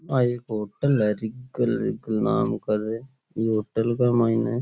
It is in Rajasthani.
आ एक होटल है नाम करने इ होटल के मायने --